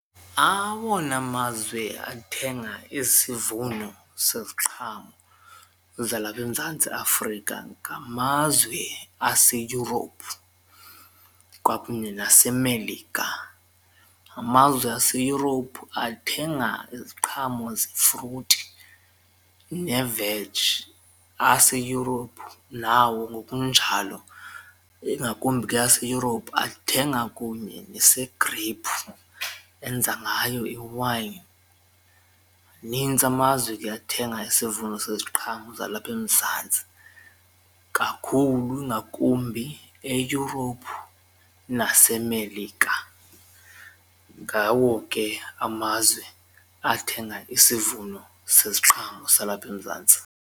Awona mazwe athenga isivuno seziqhamo zalapha eMzantsi Afrika ngamazwe aseEurope kwakunye naseMelika. Amazwe aseEurope athenga iziqhamo zefruti neveji aseEurope nawo ngokunjalo ingakumbi ke aseEurope athenga kunye nese-grape enza ngayo iwayini. Manintsi amazwe ke athenga isivuno seziqhamo zalapha eMzantsi kakhulu ngakumbi e-Europe naseMelika ngawo ke amazwe athenga isivuno seziqhamo salapha eMzantsi.